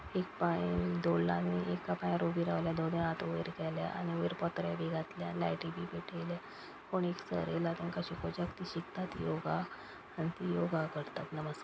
एक पाय दोडला आनी एका पायार उभी रावल्या दोनूय हाथ वयर केल्या आनी वयर पत्रे बी घातल्या लायटी बी पेटयल्या कोण एक सर येयला तेंका शिकोवच्याक ती शिकतात योगा आनी ती योगा करतात नमस्क --